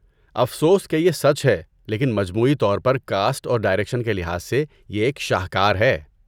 افسوس کہ یہ سچ ہے لیکن مجموعی طور پر کاسٹ اور ڈائریکشن کے لحاظ سے یہ ایک شاہکار ہے۔